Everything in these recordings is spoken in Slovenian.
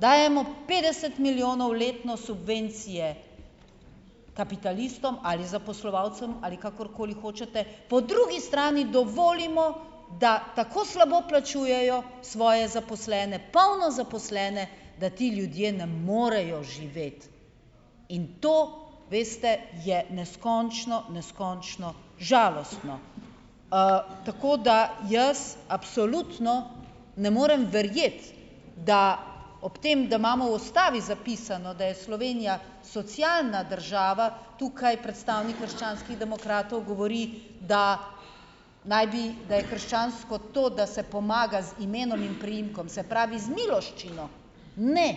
dajemo petdeset milijonov letno subvencije kapitalistom ali zaposlovalcem, ali kakorkoli hočete, po drugi strani dovolimo, da tako slabo plačujejo svoje zaposlene, polno zaposlene, da ti ljudje ne morejo živeti. In to, veste, je neskončno, neskončno žalostno. Tako da jaz absolutno ne morem verjeti, da ob tem, da imamo v ustavi zapisano, da je Slovenija socialna država, tukaj predstavnik krščanskih demokratov govori, da naj bi, da je krščansko to, da se pomaga z imenom in priimkom, se pravi, z miloščino. Ne,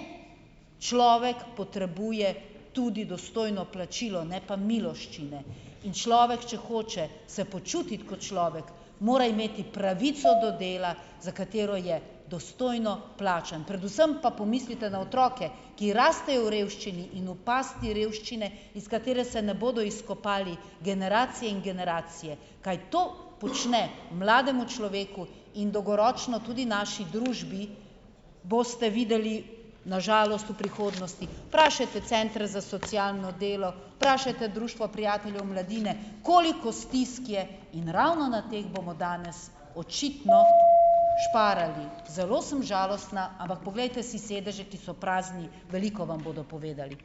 človek potrebuje tudi dostojno plačilo, ne pa miloščine. In človek, če hoče se počutiti kot človek, mora imeti pravico do dela, za katero je dostojno plačan. Predvsem pa pomislite na otroke, ki rastejo v revščini in v pasti revščine, iz katere se ne bodo izkopali generacije in generacije. Kaj to počne mlademu človeku in dolgoročno tudi naši družbi, boste videli na žalost v prihodnosti. Vprašajte centre za socialno delo, vprašajte Društvo prijateljev mladine, koliko stisk je. In ravno na teh bomo danes očitno šparali . Zelo sem žalostna, ampak poglejte si sedeže, ki so prazni. Veliko vam bodo povedali.